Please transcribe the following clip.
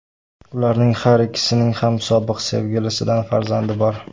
Ularning har ikkisining ham sobiq sevgilisidan farzandi bor.